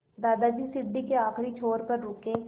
दादाजी सीढ़ी के आखिरी छोर पर रुके